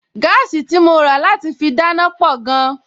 Gáàsì tí mo rà láti fi dáná pọ̀ gan-an